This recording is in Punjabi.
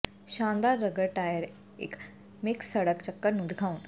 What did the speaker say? ਸ਼ਾਨਦਾਰ ਰਗੜ ਟਾਇਰ ਇੱਕ ਮਿਕਸ ਸੜਕ ਚੱਕਰ ਨੂੰ ਦਿਖਾਉਣ